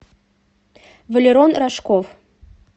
валерон рожков